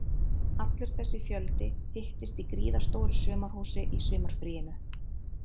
Allur þessi fjöldi hittist í gríðarstóru sumarhúsi í sumarfríinu